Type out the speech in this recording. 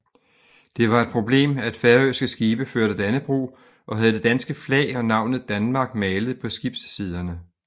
Det var et problem at færøske skibe førte Dannebrog og havde det danske flag og navnet DANMARK malet på skibssiderne